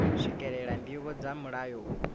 swikelela ndivho dza mulayo uyu